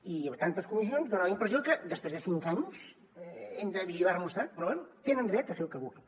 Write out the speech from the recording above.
i tantes comissions dona la impressió que després de cinc anys hem de vigilar nos tant però bé tenen dret a fer el que vulguin